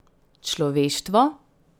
Človeštvo?